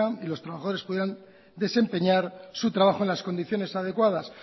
y los trabajadores pudieran desempeñar su trabajo en las condiciones adecuadas